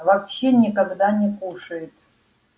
вообще никогда не кушает